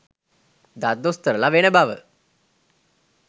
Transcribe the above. දත් දොස්තරලා වෙන බව